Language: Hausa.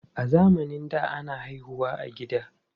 A zamanin da, ana haihu wa a gida.